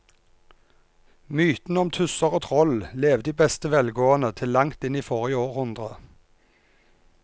Mytene om tusser og troll levde i beste velgående til langt inn i forrige århundre.